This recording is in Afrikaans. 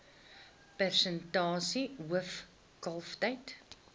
persentasie hoof kalftyd